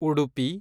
Udupi